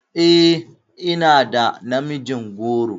E, ina da namijin goro.